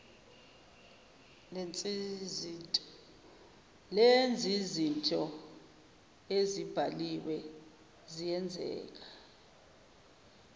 lenzizinto ezibaliwe ziyenzeka